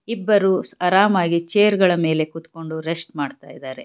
ಇಬ್ಬರು ಆರಾಮಾಗಿ ಚೇರ್ ಗಳ ಮೇಲೆ ಕೂತ್ಕೊಂಡು ರೆಸ್ಟ್ ಮಾಡ್ತಾ ಇದರೆ.